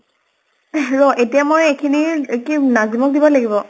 এহ ৰʼ এতিয়া মই এইখিনি কি নাজিম্ক দিব লাগিব?